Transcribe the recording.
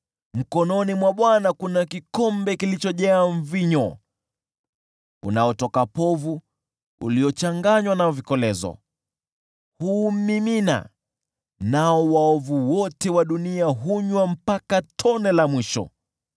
Mkononi mwa Bwana kuna kikombe kilichojaa mvinyo unaotoka povu uliochanganywa na vikolezo; huumimina, nao waovu wote wa dunia hunywa mpaka tone la mwisho.